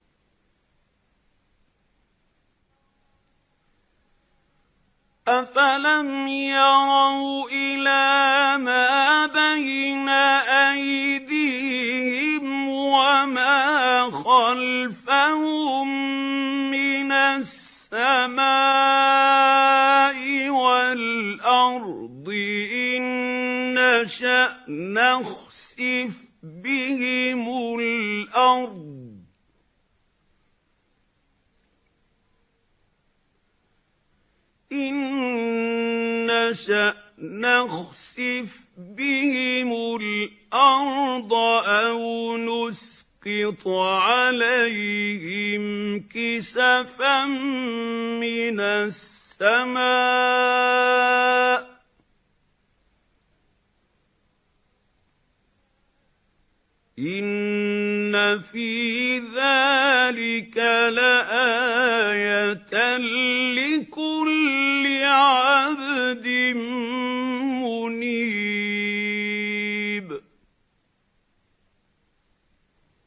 أَفَلَمْ يَرَوْا إِلَىٰ مَا بَيْنَ أَيْدِيهِمْ وَمَا خَلْفَهُم مِّنَ السَّمَاءِ وَالْأَرْضِ ۚ إِن نَّشَأْ نَخْسِفْ بِهِمُ الْأَرْضَ أَوْ نُسْقِطْ عَلَيْهِمْ كِسَفًا مِّنَ السَّمَاءِ ۚ إِنَّ فِي ذَٰلِكَ لَآيَةً لِّكُلِّ عَبْدٍ مُّنِيبٍ